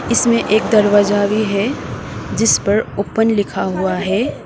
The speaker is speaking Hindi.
इसमें एक दरवाजा भी है जिस पर ओपन लिखा हुआ है।